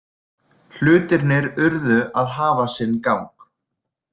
Hlutirnir urðu að hafa sinn gang.